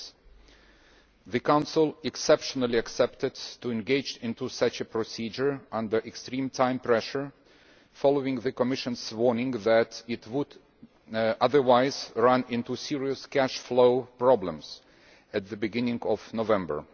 6. The Council, exceptionally, agreed to engage in such a procedure, under extreme time pressure, following the Commission's warning that it would otherwise run into serious cash flow problems at the beginning of November.